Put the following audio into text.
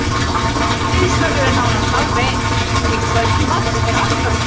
Hádegisverður er nánast alveg eins, en í kvöldmat er alltaf kjöt.